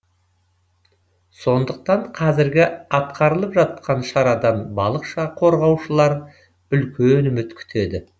сондықтан қазіргі атқарылып жатқан шарадан балық қорғаушылар үлкен үміт күтеді